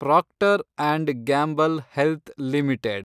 proctor and Gamble Health limited